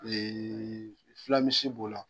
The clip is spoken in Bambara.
fulamisi b'o la.